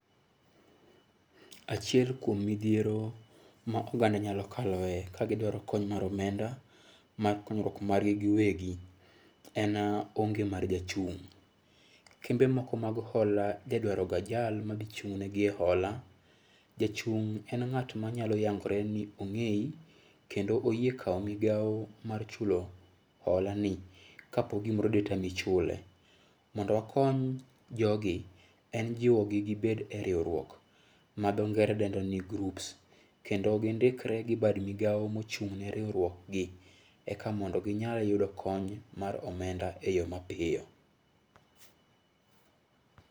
Achiel kuom midhiero ma oganda nyalo kaloe ka gidwaro kony mar omenda mar konyruok margi giwegi en onge mar jachung' . Kembe moko mag hola oja dwaro ga jal madhi chung' ne gi e hola. Jachung' en ng'at manyalo yangore ni ong'eyi kendo oyie chulo migawo mar hola ni kapo gimoro de tami chule. Mondo wakony jogi en jiwo gi gibed e riwruok ma dho ngere dendo ni grups kendo gindikre gi bad migawo mochung' ne riwruokgi eka mondo ginya yudo kony mar omenda e yoo mapiyo